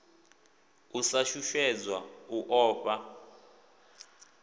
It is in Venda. u sa shushedzwa u ofha